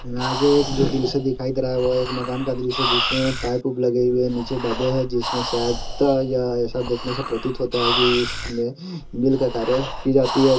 यहाँ पे एक दृश्य दिखाई दे रहा है वो एक मकान का दृश्य दिखाई दे रहा है जिसमे पाइप पूप लगे हुए है नीचे डब्बे है जिसमे शायद या ऐसा देखने में प्रतीत होता है कि सब मिल्क का कार्य कि जाती है।